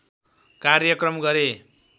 कार्यक्रम गरे